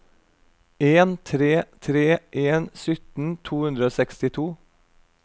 en tre tre en sytten to hundre og sekstito